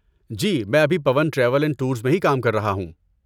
جی، میں ابھی Pawan travel and tours میں ہی کام کر رہا ہوں۔